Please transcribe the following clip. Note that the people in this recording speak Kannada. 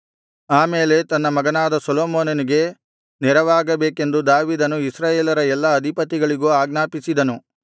ಆಮೇಲೆ ತನ್ನ ಮಗನಾದ ಸೊಲೊಮೋನನಿಗೆ ನೆರವಾಗಬೇಕೆಂದು ದಾವೀದನು ಇಸ್ರಾಯೇಲರ ಎಲ್ಲಾ ಅಧಿಪತಿಗಳಿಗೂ ಆಜ್ಞಾಪಿಸಿದನು